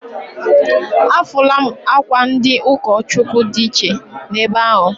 Afụlụ m akwa ndị ụkọchụkwụ dị iche na ebe ahụ.